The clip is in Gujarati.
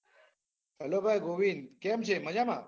હલો ભાઈ ગોવીંદ, કેમ છે મજામાં?